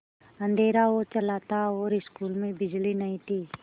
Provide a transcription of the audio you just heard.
अँधेरा हो चला था और स्कूल में बिजली नहीं थी